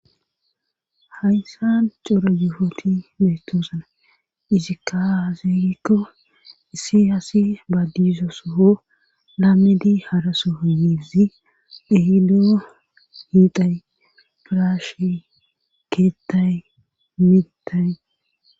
Hayssa cora yehoti beytoosana izikkaazekko issi haasi baadiso soo laamedi haraso yeezi dhehido hiitay piraashe keettay mitay.